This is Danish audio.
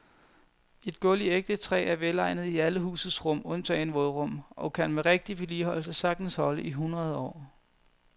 Et gulv i ægte træ er velegnet i alle husets rum undtagen vådrum og kan med rigtig vedligeholdelse sagtens holde i hundrede år.